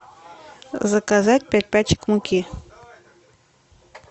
заказать пять пачек муки